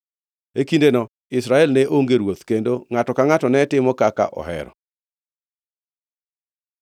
E kindeno Israel ne onge ruoth; kendo ngʼato ka ngʼato ne timo kaka ohero.